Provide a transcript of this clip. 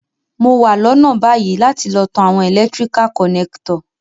Mo wa lónà bayi láti lo tan àwon electrical connector